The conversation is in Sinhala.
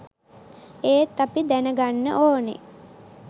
ඒත් අපි දැන ගන්න ඕනේ